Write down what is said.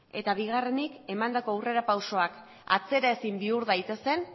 eta bigarrenik emandako aurrerapausoak atzera ezin bihur daitezen